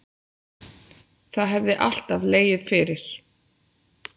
Það hefði alltaf legið fyrir